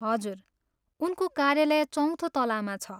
हजुर, उनको कार्यालय चौथो तलामा छ।